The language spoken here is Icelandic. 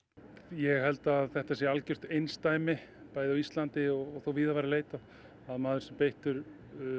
ég held að þetta sé algert einsdæmi og þótt víða væri leitað að maður sé beittur